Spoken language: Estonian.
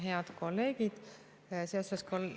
Head kolleegid!